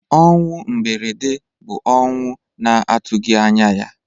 Ọnwụ mberede bụ ọnwụ na-atụghị anya ya.